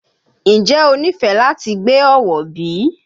Ǹjẹ́ o nífẹ̀ẹ́ láti gbé Ọ̀wọ̀ bí?